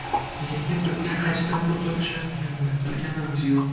Lekin bizga qanchadan pul to‘lashayotganini bilganimiz yo‘q.